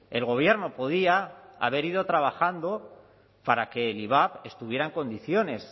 el gobierno podía haber ido trabajando para que el ivap estuviera en condiciones